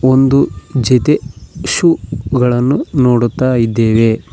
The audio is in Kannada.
ಒಂದು ಜೊತೆ ಶೂ ಗಳನ್ನು ನೋಡುತ್ತ ಇದ್ದೇವೆ.